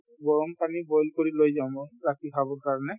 গৰম পানী boil কৰি লৈ যাওঁ মই ৰাতি খাবৰ কাৰণে